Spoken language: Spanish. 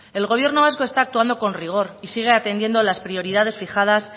el gobierno vasco está actuando con rigor y sigue atendiendo las prioridades fijadas